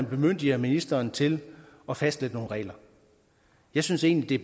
bemyndiger ministeren til at fastlægge nogle regler jeg synes egentlig